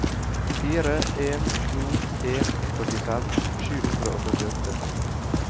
fire en to en førtifem sju hundre og førtiåtte